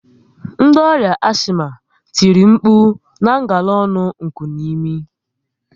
Ndi ọrià ashima tìrì nkpu na ngala ọnụ nkunimi